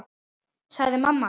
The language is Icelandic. sagði mamma alltaf.